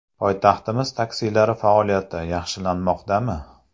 Poytaxtimiz taksilari faoliyati yaxshilanmoqda...mi?.